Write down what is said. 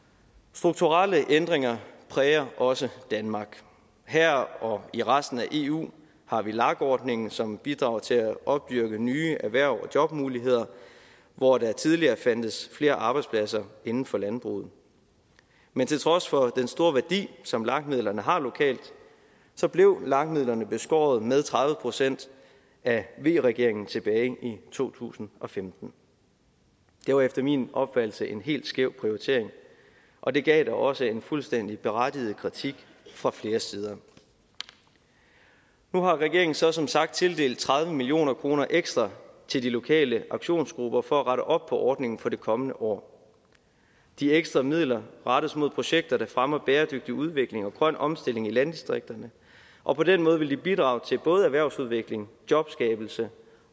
strukturelle ændringer præger også danmark her og i resten af eu har vi lag ordningen som bidrager til at opdyrke nye erhvervs og jobmuligheder hvor der tidligere fandtes flere arbejdspladser inden for landbruget men til trods for den store værdi som lag midlerne har lokalt blev lag midlerne beskåret med tredive procent af v regeringen tilbage i to tusind og femten det var efter min opfattelse en helt skæv prioritering og det gav da også en fuldstændig berettiget kritik fra flere sider nu har regeringen så som sagt tildelt tredive million kroner ekstra til de lokale aktionsgrupper for at rette op på ordningen for det kommende år de ekstra midler rettes mod projekter der fremmer bæredygtig udvikling og grøn omstilling i landdistrikterne og på den måde vil de bidrage til både erhvervsudvikling jobskabelse